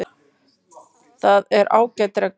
Það er ágæt regla.